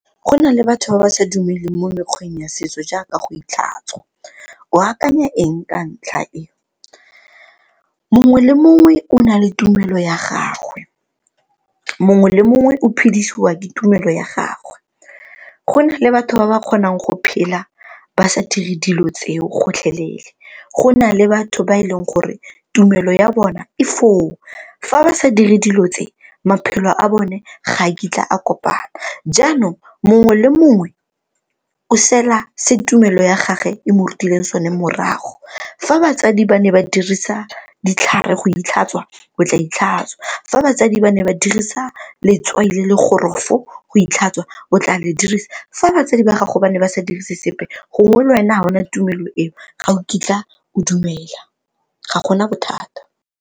Go na le batho ba ba sa dumeleng mo mekgweng ya setso jaaka go itlhatswa, o akanya eng ka ntlha e? Mongwe le mongwe o na le tumelo ya gagwe, mongwe le mongwe o phedisiwa ke tumelo ya gagwe. Go na le batho ba ba kgonang go phela ba sa dire dilo tseo gotlhelele, go na le batho ba e leng gore tumelo ya bona e foo fa ba sa dire dilo tse maphelo a bone ga a kitla a kopana. Jaanong, mongwe le mongwe o sela se tumelo ya gage e mo rutile sone morago. Fa batsadi ba ne ba dirisa ditlhare go itlhatswa o tla itlhatswa, fa batsadi ba ne ba dirisa letswai le le gorofo go itlhatswa o tla le dirisa, fa batsadi ba gago ba ne ba sa dirise sepe gongwe le wena ga o na tumelo eo ga o kitla o dumela ga gona bothata.